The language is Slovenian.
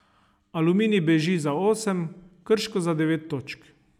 Aluminij beži za osem, Krško za devet točk.